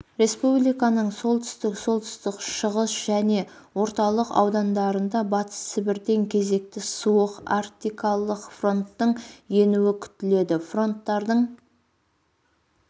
республиканың солтүстік солтүстік шығыс және орталық аудандарында батыс сібірден кезекті суық арктикалық фронттың енуі күтіледі фронтардың